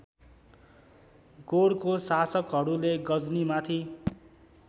गोरको शासकहरूले गजनीमाथि